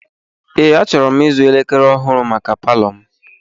Ee, achọrọ m ịzụ elekere ọhụụ maka palọ m.